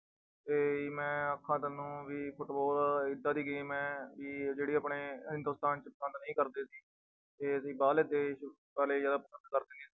ਤੇ ਮੈਂ ਆਖਾਂ ਤੁਹਾਨੂੰ ਵੀ ਫੁਟਬਾਲ ਏਦਾਂ ਦੀ game ਹੈ ਕਿ ਜਿਹੜੇ ਆਪਣੇ ਹਿੰਦੁਸਤਾਨ 'ਚ ਪਸੰਦ ਨਹੀਂ ਕਰਦੇ ਤੇ ਬਾਹਰਲੇ ਦੇਸ ਵਾਲੇ ਜ਼ਿਆਦਾ ਪਸੰਦ ਕਰਦੇ ਨੇ।